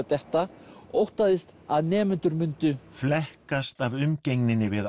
detta óttaðist að nemendur myndu flekkast af umgengninni við